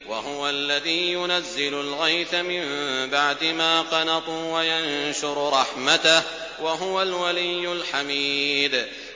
وَهُوَ الَّذِي يُنَزِّلُ الْغَيْثَ مِن بَعْدِ مَا قَنَطُوا وَيَنشُرُ رَحْمَتَهُ ۚ وَهُوَ الْوَلِيُّ الْحَمِيدُ